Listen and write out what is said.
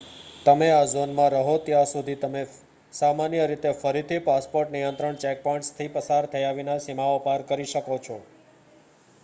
તમે આ ઝોનમાં રહો ત્યાં સુધી તમે સામાન્ય રીતે ફરીથી પાસપોર્ટ નિયંત્રણ ચેકપૉઇન્ટ્સમાંથી પસાર થયા વિના સીમાઓ પાર કરી શકો છો